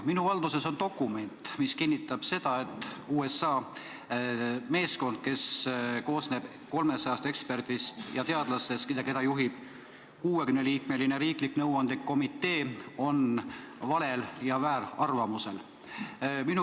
Minu valduses on dokument, mis kinnitab, et USA meeskond, mis koosneb 300 eksperdist ja teadlasest, keda juhib 60-liikmeline riiklik nõuandekomitee, on valel ja vääral arvamusel.